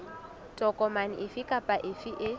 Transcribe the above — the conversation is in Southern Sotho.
tokomane efe kapa efe e